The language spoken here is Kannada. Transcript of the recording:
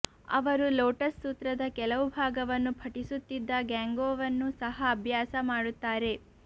ಅವರು ಲೋಟಸ್ ಸೂತ್ರದ ಕೆಲವು ಭಾಗವನ್ನು ಪಠಿಸುತ್ತಿದ್ದ ಗ್ಯಾಂಗ್ಯೋವನ್ನು ಸಹ ಅಭ್ಯಾಸ ಮಾಡುತ್ತಾರೆ